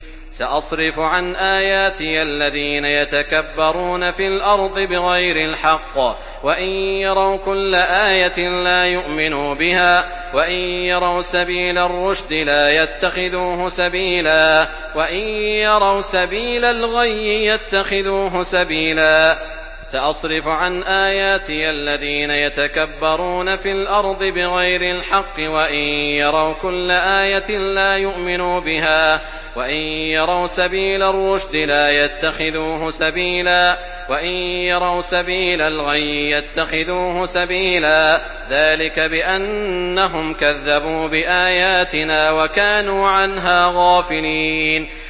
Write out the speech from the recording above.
سَأَصْرِفُ عَنْ آيَاتِيَ الَّذِينَ يَتَكَبَّرُونَ فِي الْأَرْضِ بِغَيْرِ الْحَقِّ وَإِن يَرَوْا كُلَّ آيَةٍ لَّا يُؤْمِنُوا بِهَا وَإِن يَرَوْا سَبِيلَ الرُّشْدِ لَا يَتَّخِذُوهُ سَبِيلًا وَإِن يَرَوْا سَبِيلَ الْغَيِّ يَتَّخِذُوهُ سَبِيلًا ۚ ذَٰلِكَ بِأَنَّهُمْ كَذَّبُوا بِآيَاتِنَا وَكَانُوا عَنْهَا غَافِلِينَ